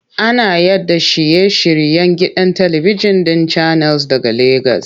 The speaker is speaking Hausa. Ana yaɗa shiye-shiryen gidan talibijin ɗin Channels daga Legas.